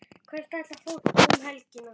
Hvert ætlar fólk um helgina?